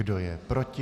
Kdo je proti?